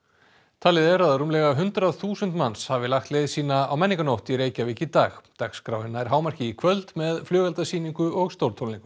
talið er að rúmlega hundrað þúsund manns hafi lagt leið sína á menningarnótt í Reykjavík í dag dagskráin nær hámarki í kvöld með flugeldasýningu og stórtónleikum